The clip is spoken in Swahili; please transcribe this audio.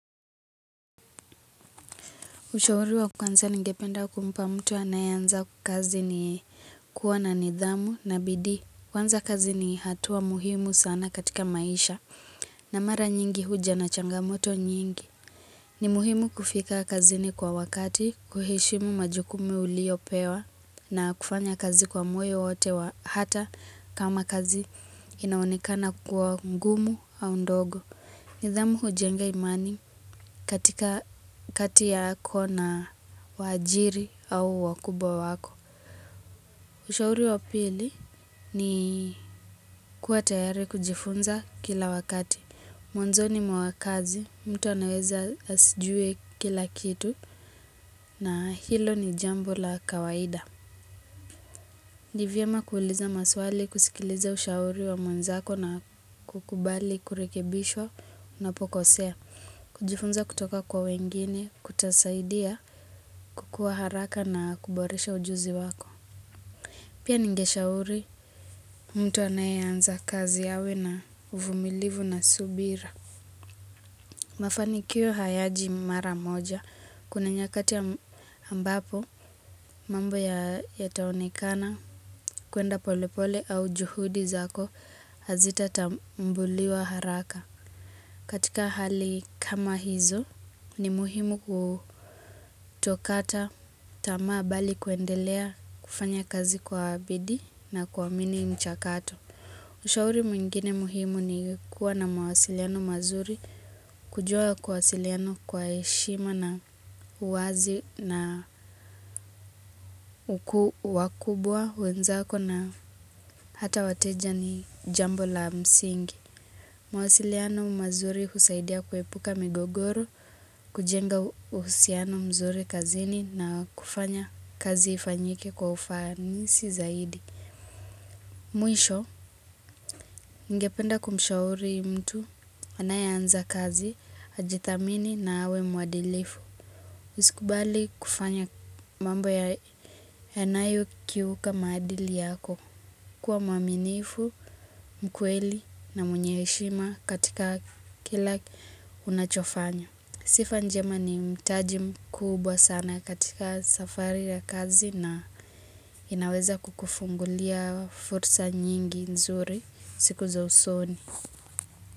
Ushauri wa kwanza ningependa kumpa mtu anayeanza kazi ni kuwa na nidhamu na bidii. Kwanza, kazi ni hatua muhimu sana katika maisha, na mara nyingi huja na changamoto nyingi. Ni muhimu kufika kazini kwa wakati, kuheshimu majukumu uliyopewa na kufanya kazi kwa moyo wote, hata kama kazi inaonekana kuwa ngumu au ndogo. Nidhamu hujenga imani katika kati yako na waajiri au wakubwa wako. Ushauri wa pili ni kuwa tayari kujifunza kila wakati. Mwanzoni mwa kazi, mtu anaweza asijue kila kitu, na hilo ni jambo la kawaida. Ni vyema kuuliza maswali, kusikiliza ushauri wa mwenzako na kukubali kurekebishwa unapokosea. Kujifunza kutoka kwa wengine, kutasaidia kukua haraka na kuboresha ujuzi wako. Pia ningeshauri mtu anayeanza kazi awe na uvumilivu na subira. Mafanikio hayaji mara moja. Kuna nyakati ambapo mambo yataonekana kwenda polepole au juhudi zako hazitatambuliwa haraka. Katika hali kama hizo, ni muhimu kutokata tamaa bali kuendelea kufanya kazi kwa bidii na kuamini mchakato. Ushauri mwingine muhimu ni kuwa na mawasiliano mazuri. Kujua kuwasiliana kwa heshima na uwazi na wakubwa, wenzako na hata wateja ni jambo la msingi. Mawasiliano mazuri husaidia kuepuka migogoro, kujenga uhusiano mzuri kazini na kufanya kazi ifanyike kwa ufanisi zaidi. Mwisho, ningependa kumshauri mtu anayeanza kazi ajithamini na awe mwadilifu. Usikubali kufanya mambo yanayokiuka maadili yako. Kuwa mwaminifu, mkweli na mwenye heshima katika kila unachofanya. Sifa njema ni mtaji mkubwa sana katika safari ya kazi. Inaweza kukufungulia fursa nyingi nzuri siku za usoni.